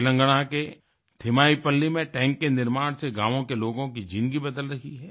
तेलंगाना के थिम्मईपल्ली थिमाईपल्ली में टैंक के निर्माण से गाँवों के लोगों की जिंदगी बदल रही है